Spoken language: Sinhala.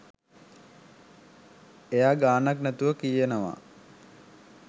එයා ගානක් නැතුව කියනවා